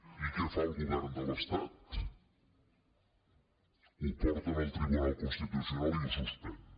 i què fa el govern de l’estat ho porta al tribunal constitucional i ho suspèn